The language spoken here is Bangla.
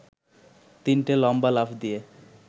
তিনটে লম্বা লাফ দিয়ে